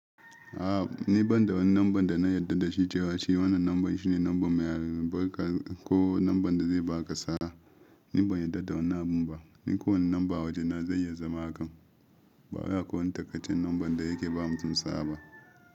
A ni banda wani namba da na yarda da shi ce wa shi, wannan namba shine namba mai albarka ko namba da zai baka sa'a. Niban yarda da wannan abun ba, ni ko wannan namba waje na zai ya zama hakan, bawai akwai wani taƙaicen namba da yake ba mutum sa'a ba.